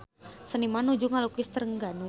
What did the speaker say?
Seniman nuju ngalukis Trengganu